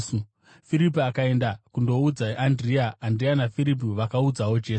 Firipi akaenda kundoudza Andirea; Andirea naFiripi vakazoudzawo Jesu.